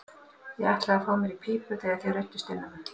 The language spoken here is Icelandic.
Ég ætlaði að fá mér í pípu þegar þið ruddust inn á mig.